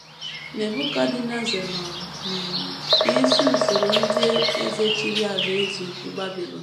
Nebukadneza nọ um n’isi usoro ndị eze chịrị Alaeze Ukwu Babilọn.